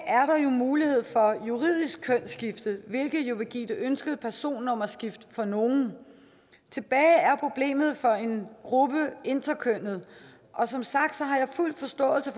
mulighed for juridisk kønsskifte hvilket jo vil give det ønskede personnummerskift for nogle tilbage er problemet for en gruppe interkønnede som sagt har jeg fuld forståelse